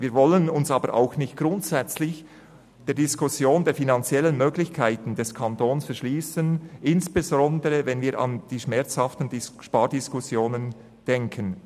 Wir wollen uns aber auch nicht grundsätzlich der Diskussion der finanziellen Möglichkeiten des Kantons verschliessen, insbesondere, wenn wir an die schmerzhaften Spardiskussionen denken.